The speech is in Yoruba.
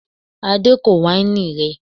Adé kò wáìnì rẹ